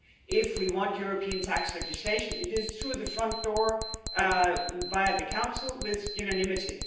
If we want European tax legislation it will be through the front door, via the Council, with unanimity.